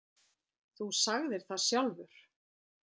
Þú sagðir það sjálfur